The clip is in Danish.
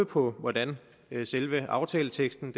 på hvordan selve aftaleteksten